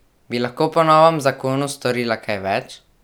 Bi lahko po novem zakonu storila kaj več?